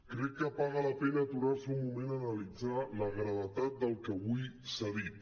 crec que paga la pena aturar se un moment a analitzar la gravetat del que avui s’ha dit